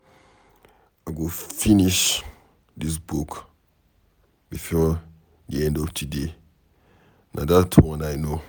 I go finish dis book before the end of today na dat one I know.